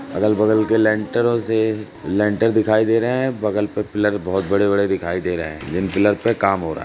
अगल बगल के लेंटरो से लेंटर दिखाई दे रहे हैं। बगल पर पिलर बहोत बड़े-बड़े दिखाई दे रहे हैं जिन पिलर पे काम हो रहा है।